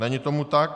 Není tomu tak.